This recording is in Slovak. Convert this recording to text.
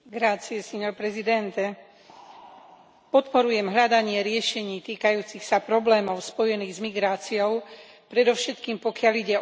Podporujem hľadanie riešení týkajúcich sa problémov spojených s migráciou, predovšetkým pokiaľ ide o tých, ktorí utekajú pred vojnou a násilím.